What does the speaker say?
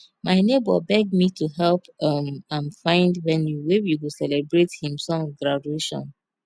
my nebor beg me to help um am find venue wey we go celebrate him son graduation